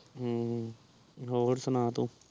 ਹਮ ਹੋਰ ਸੁਣਾ ਤੂੰ